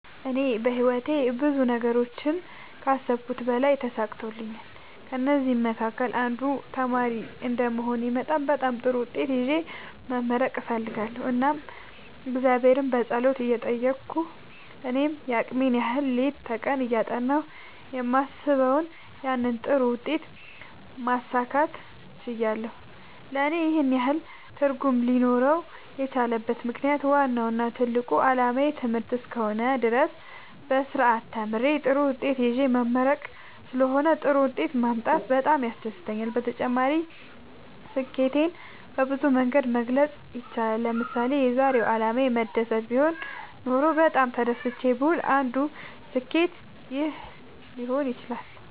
እኔ በህይወቴ ብዙ ነገሮችን ከአሰብሁት በላይ ተሳክተውልኛል ከእነዚህም መካከል አንዱ ተማሪ እንደመሆኔ መጠን በጣም ጥሩ ውጤት ይዤ መመረቅ እፈልጋለሁ እናም እግዚአብሔርን በጸሎት እየጠየቅሁ እኔም የአቅሜን ያህል ሌት ከቀን እያጠናሁ የማስበውን ያንን ጥሩ ውጤት ማሳካት ችያለሁ ለእኔ ይህን ያህል ትርጉም ሊኖረው የቻለበት ምክንያት ዋናው እና ትልቁ አላማዬ ትምህርት እስከ ሆነ ድረስ በስርአት ተምሬ ጥሩ ውጤት ይዤ መመረቅ ስለሆነ ጥሩ ውጤት ማምጣቴ በጣም ያስደስተኛል። በተጨማሪ ስኬትን በብዙ መንገድ መግለፅ ይቻላል ለምሳሌ የዛሬው አላማዬ መደሰት ቢሆን ኖሮ በጣም ተደስቼ ብውል አንዱ ስኬት ይህ ሊሆን ይችላል